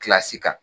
kan